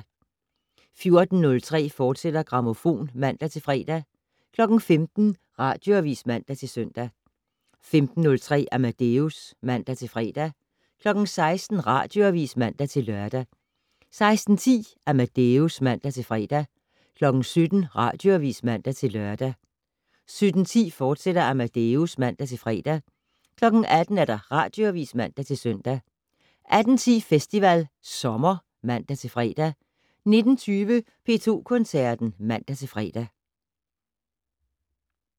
14:03: Grammofon, fortsat (man-fre) 15:00: Radioavis (man-søn) 15:03: Amadeus (man-fre) 16:00: Radioavis (man-lør) 16:10: Amadeus (man-fre) 17:00: Radioavis (man-lør) 17:10: Amadeus, fortsat (man-fre) 18:00: Radioavis (man-søn) 18:10: Festival Sommer (man-fre) 19:20: P2 Koncerten (man-fre)